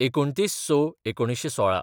२९/०६/१९१६